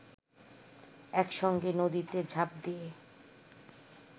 একসঙ্গে নদীতে ঝাঁপ দিয়ে